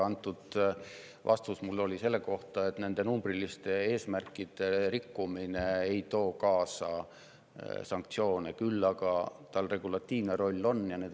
Antud vastus oli mul selle kohta, et nende numbriliste eesmärkide rikkumine ei too kaasa sanktsioone, küll aga on sellel regulatiivne roll.